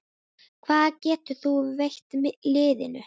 Hvað getur þú veitt liðinu?